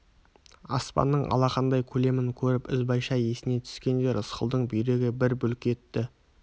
аспанның алақандай көлемін көріп ізбайша есіне түскенде рысқұлдың бүйрегі бір бүлк етті